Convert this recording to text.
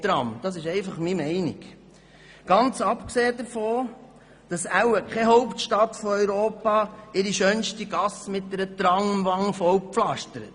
Dies ist einfach meine Meinung, ganz abgesehen davon, dass wohl keine Hauptstadt in Europa ihre schönste Gasse mit einer «Tramwand» zupflastert.